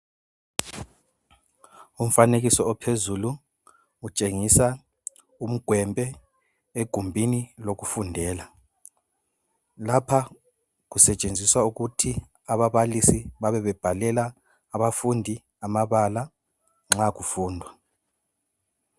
Umfanekiso ophezulu utshengisa umgwembe egumbuni lokufundela lapha kusetshenziswa ukuthi ababalisi bebe bebhalela abafundi amabala nxa kufundwa.